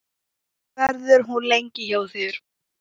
Verður hún lengi hjá þér?